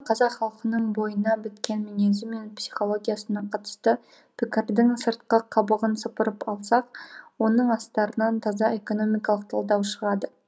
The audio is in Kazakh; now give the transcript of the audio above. қазақ халқының бойына біткен мінезі мен психологиясына қатысты пікірлердің сыртқы қабығын сыпырып алсақ оның астарынан таза экономикалық талдау шығады